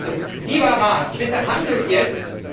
Also, lieber Rat, bitte handelt jetzt!